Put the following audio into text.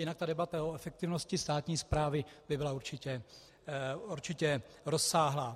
Jinak ta debata o efektivnosti státní správy by byla určitě rozsáhlá.